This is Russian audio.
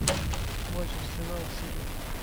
матч арсенал сити